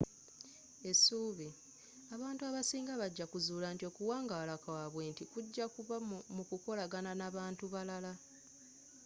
essubi abantu abasinga bajja kuzula nti okuwangala kwabwe nti kujja kubba mu kukolagana n'abantu abalala